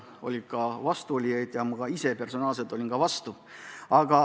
Oli ka vastuolijaid, ma ise personaalselt olin samuti vastu.